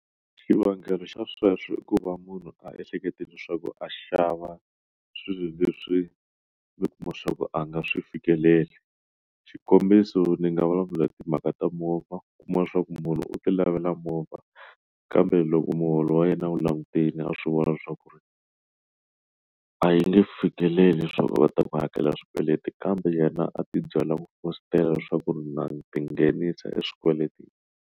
Xivangelo xa sweswo i ku va munhu a ehleketa leswaku a xava swilo leswi ndzi kuma swa ku a nga swi fikeleli xikombiso ndzi nga vulavula timhaka ta movha kuma leswaku munhu u ti lavela movha kambe loko muholo wa yena u langutile a swi vona leswaku ri a yi nge fikeleli leswaku va ta ku hakela swikweleti kambe yena a ti byela ku leswaku na ndzi ti nghenisa swikweletini.